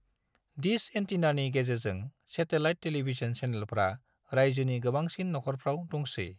Dish एंटीनानि गेजेरजों satellite television चैनेलफ्रा राज्योनि गोबांसिन नखरफ्राव दंसै।